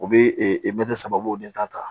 U bɛ mɛtiri saba bɔ den tan ta